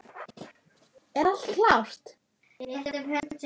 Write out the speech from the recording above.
Er allt klárt?